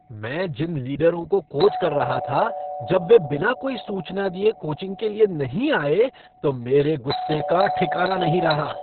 मैं जिन लीडरों को कोच कर रहा था, जब वे बिना कोई सूचना दिए कोचिंग के लिए नहीं आए तो मेरे गुस्से का ठिकाना नहीं रहा।